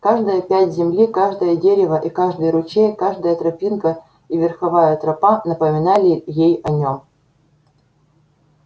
каждая пядь земли каждое дерево и каждый ручей каждая тропинка и верховая тропа напоминали ей о нём